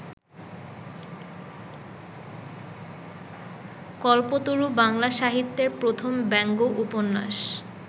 কল্পতরু বাংলা সাহিত্যের প্রথম ব্যঙ্গ উপন্যাস।